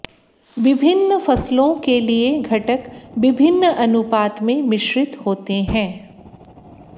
विभिन्न फसलों के लिए घटक विभिन्न अनुपात में मिश्रित होते हैं